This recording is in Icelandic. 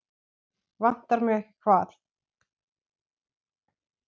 Vantar mig ekki hvað?